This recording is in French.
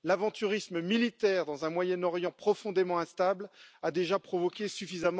L'aventurisme militaire dans un Moyen Orient profondément instable a déjà provoqué suffisamment de dégâts.